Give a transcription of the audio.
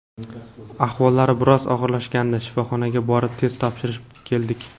Ahvollari biroz og‘irlashgandi, shifoxonaga borib test topshirib keldik.